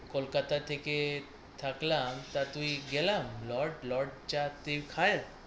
কলকাতা থেকে থাকলাম তা তুই গেলাম। লর্ড লর্ড চাতে খায়,